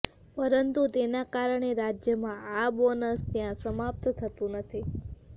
પરંતુ તેના કારણે રાજ્યમાં આ બોનસ ત્યાં સમાપ્ત થતું નથી